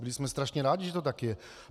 Byli jsme strašně rádi, že to tak je.